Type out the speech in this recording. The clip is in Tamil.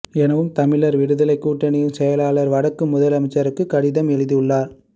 எனவும் தமிழர் விடுதலைக் கூட்டணியின் செயலாளர் வடக்கு முதலமைச்சருக்கு கடிதம் எழுதியுள்ளார்